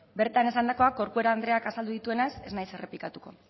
bertan esandakoak corcuera andreak azaldu dituenez ez naiz errepikatuko